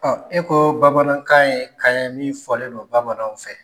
e koo bamanankan ye kan ye min fɔlen don bamananw fɛ.